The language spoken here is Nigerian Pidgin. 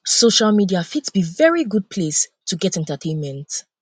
social media fit be very good place to get entertainment